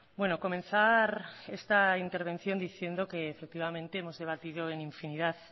bueno comenzar esta intervención diciendo que efectivamente hemos debatido en infinidad